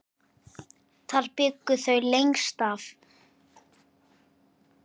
Þar bjuggu þau lengst af.